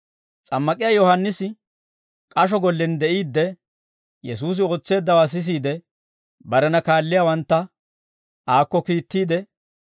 S'ammak'iyaa Yohaannisi k'asho gollen de'iidde, Kiristtoosi ootseeddawaa sisiide, barena kaalliyaawantta aakko kiittiide,